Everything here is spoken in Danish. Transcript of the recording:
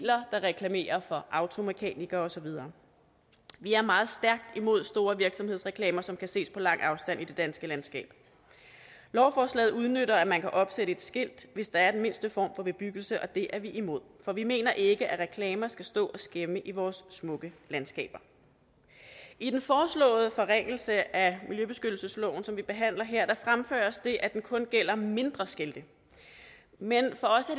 der reklamerer for automekanikere og så videre vi er meget stærkt imod store virksomhedsreklamer som kan ses på lang afstand i det danske landskab lovforslaget udnytter at man kan opsætte et skilt hvis der er den mindste form for bebyggelse og det er vi imod for vi mener ikke at reklamer skal stå og skæmme vores smukke landskaber i den foreslåede forringelse af miljøbeskyttelsesloven som vi behandler her fremføres det at det kun gælder mindre skilte men for os